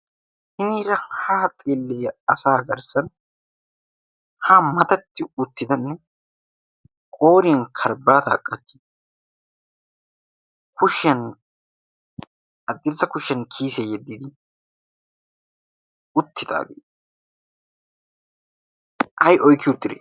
hiniira haa xillia asa agarssan ha matatti uttidanne qooriyan karbbaataa qachchi kushiyan aggirssa kushshiyan kiyisee yeddidi uttidaagee ay oykki uttide